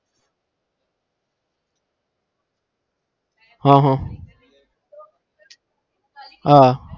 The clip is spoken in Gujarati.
હા હા હા